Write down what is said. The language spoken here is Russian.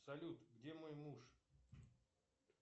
салют где мой муж